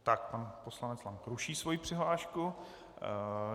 Tak pan poslanec Lank ruší svoji přihlášku.